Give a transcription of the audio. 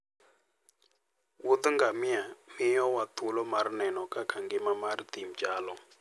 Wuoth ngamia miyowa thuolo mar neno kaka ngima mar thim chalo.